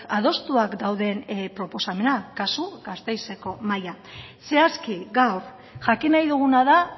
adostuak dauden proposamenak kasu gasteizeko mahaia zehazki gaur jakin nahi duguna da